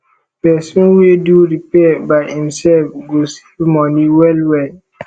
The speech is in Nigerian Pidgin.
pesin wey do repair by imself go save moni well well